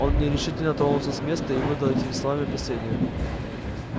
он нерешительно тронулся с места и выдал этим словами опасения